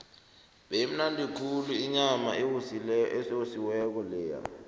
beyimnandi khulu inyama eyosiweko leya